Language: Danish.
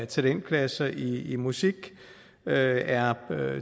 talentklasser i i musik er er